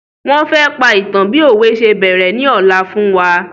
Wọn fẹ́ pa ìtan bi òwe se bẹ̀rẹ̀ ni ola fún wa